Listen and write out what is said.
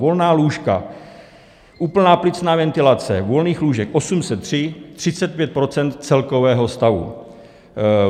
Volná lůžka, úplná plicní ventilace, volných lůžek 803, 35 % celkového stavu.